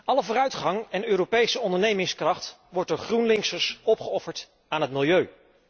Alle vooruitgang en Europese ondernemingskracht wordt door GroenLinksers opgeofferd aan het milieu.